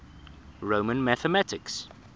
roman mathematics